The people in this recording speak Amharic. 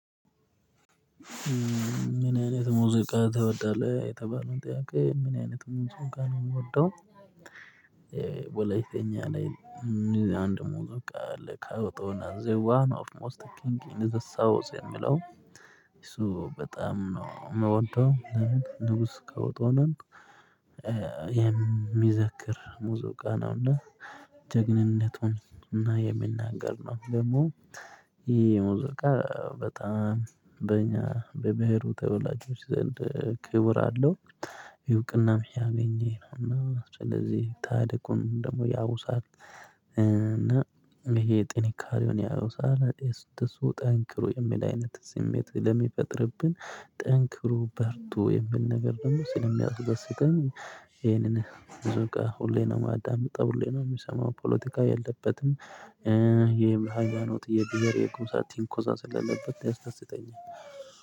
ምን አይነት ሙዚቃ ትወዳለህ የተባለውን ጥያቄ ምን አይነት ሙዚቃ ነው የምወደው። ወላይተኛ ላይ። አንድ ሙዙቃ አል ካወጣው እና ዘዋ ነው ኦፍ ሞስት ኪንግ ኢን ዘ ሳውዝ የሚለው እሱ በጣም ነው የምወደው። ንጉስ ካዎጦናን። የሚዘክር ሙዙቃ ነውና ጀግንነቱን እና የሚናገር ነው ደግሞ። ይሄ ሙዚቃ በጣም በእኛ በብሄሩ ተወላጆች ዘንድ ክቡር አለው። እውቅናም ያገኘነው እና ስለዚህ ታሪኩን ደግሞ ያውሳል። እና ይሄ ጥንካሬውን ያውሳል። እሱ ጠንክሮ የሚል አይነት ስሜት ለሚፈጥርብን ጠንክሮ በርቶ የሚል ነገር ደግሞ ስለሚያስደስተኝ ይሄንን። ሁሌም ነው የማዳምጠው ሁሌም ነው የምሰማው ፖለቲካ የለበትም። የሃያማኖት የብሄር የጎሳ ቲንኮሳ ስላሌለበት ያስደስተኛል።